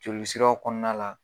Joli siraw kɔnɔna la